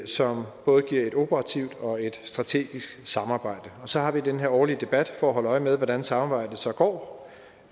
som både giver et operativt og et strategisk samarbejde og så har vi den her årlige debat for at holde øje med hvordan samarbejdet så går